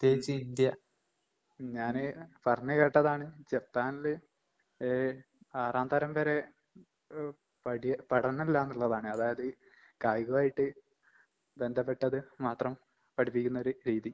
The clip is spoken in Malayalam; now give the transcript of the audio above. ഉം. ഉം ഞാന് പറഞ്ഞ് കേട്ടതാണ് ജപ്പാൻല് ഏഹ് ആറാം തരം വരെ ഏഹ് പടിയേ പഠനില്ലാന്ന്ള്ളതാണ്. അതായത് കായികവായിട്ട് ബന്ധപ്പെട്ടത് മാത്രം പഠിപ്പിക്കുന്നൊരു രീതി.